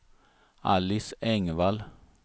Alice Engvall